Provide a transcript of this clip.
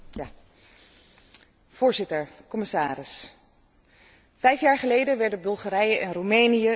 Voorzitter, commissaris, vijf jaar geleden werden Bulgarije en Roemenië lid van onze Unie.